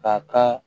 A ka